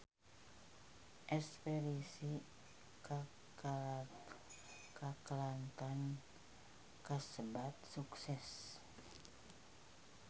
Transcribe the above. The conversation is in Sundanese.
Espedisi ka Kelantan kasebat sukses